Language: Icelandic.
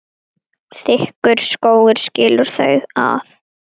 Þykkur skógur skilur þau að.